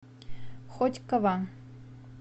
хотьково